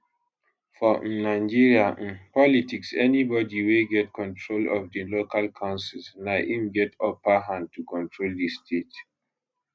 for um nigeria um politics anybody wey get control of di local councils na im get upper hand to control di state